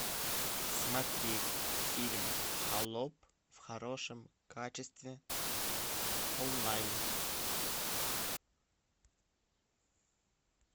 смотреть фильм холоп в хорошем качестве онлайн